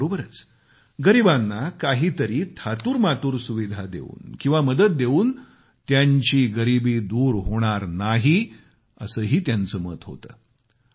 याबरोबरच गरिबांना काहीतरी थातुरमातुर सुविधा देऊन किवा मदत देऊन त्यांची गरिबी दूर होणार नाही असेही त्यांचे मत होते